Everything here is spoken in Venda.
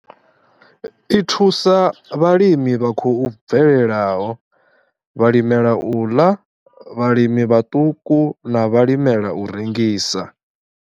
I thusa vhalimi vha khou bvelelaho, vhalimela u ḽa, vhalimi vhaṱuku na vhalimela u rengisa.